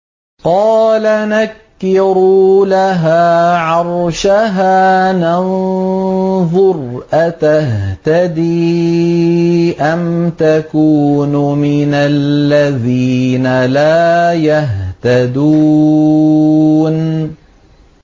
قَالَ نَكِّرُوا لَهَا عَرْشَهَا نَنظُرْ أَتَهْتَدِي أَمْ تَكُونُ مِنَ الَّذِينَ لَا يَهْتَدُونَ